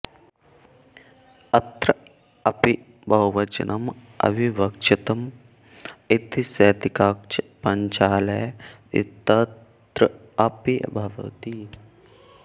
अत्र अपि बहुवचनम् अविवक्षितम् इति शैतिकाक्षपञ्चालेयौ इत्यत्र अपि भवति